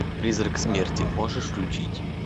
призрак смерти можешь включить